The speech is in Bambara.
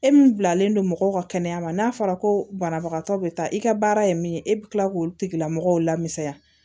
E min bilalen don mɔgɔw ka kɛnɛya ma n'a fɔra ko banabagatɔ bɛ taa i ka baara ye min ye e bɛ tila k'o tigilamɔgɔw la misaya